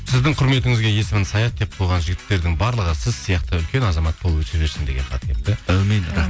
сіздің құрметіңізге есімін саят деп қойған жігіттердің барлығы сіз сияқты үлкен азамат болып өсе берсін деген хат келіпті әумин